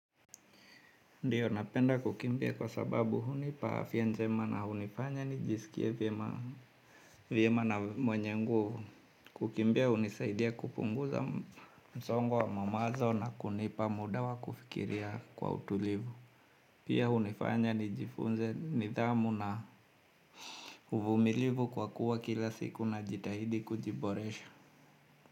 Ndiyo napenda kukimbia kwa sababu hunipa afya njema na hunifanya nijisikie vyema na mwenye nguvu kukimbia hunisaidia kupunguza msongo wa mamazo na kunipa muda wa kufikiria kwa utulivu. Pia hunifanya nijifunze nidhamu na uvumilivu kwa kuwa kila siku na jitahidi kujiboresha.